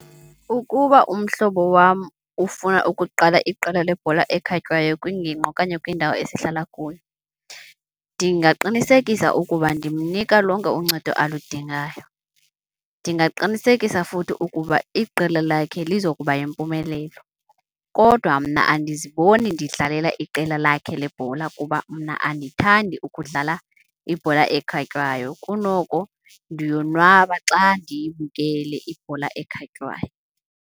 Ukuba umhlobo wam ufuna ukuqala iqela lebhola ekhatywayo kwingingqi okanye kwindawo esihlala kuyo, ndingaqinisekisa ukuba ndimnika lonke uncedo aludingayo. Ndingaqinisekisa futhi ukuba iqela lakhe lizokuba yimpumelelo kodwa mna andiziboni ndidlalela iqela lakhe lebhola kuba mna andithandi ukudlala ibhola ekhatywayo, kunoko ndiyonwaba xa ndiyibukele ibhola ekhatywayo.